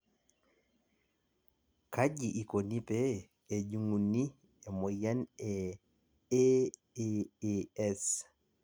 kaji ikoni pee ejunguni e moyian e AAAS?